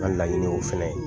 N ka laɲini ye o fɛnɛ ye.